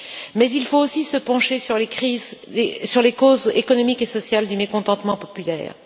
Mais il faut aussi se pencher sur les causes économiques et sociales du mécontentement populaire.